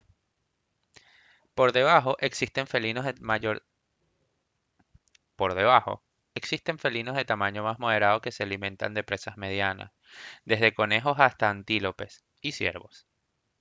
por debajo existen felinos de tamaño más moderado que se alimentan de presas medianas desde conejos hasta antílopes y ciervos